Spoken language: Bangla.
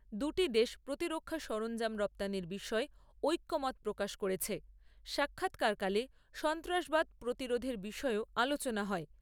দুটি দেশ প্রতিরক্ষা সরঞ্জাম রপ্তানির বিষয়ে ঐক্যমত প্রকাশ করেছে, সাক্ষাৎকারকালে সন্ত্রাসবাদ প্রতিরোধের বিষয়েও আলোচনা হয়।